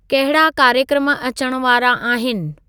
कहिड़ा कार्यक्रम अचण वारा आहिनि